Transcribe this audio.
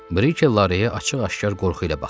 Brikey Lareya açıq-aşkar qorxu ilə baxırdı.